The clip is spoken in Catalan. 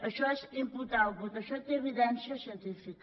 això és input output això té evidència científica